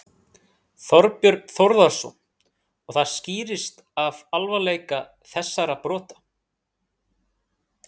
Þorbjörn Þórðarson: Og það skýrist af alvarleika þessara brota?